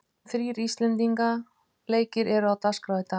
Þrír íslendinga leikir eru á dagskrá í dag.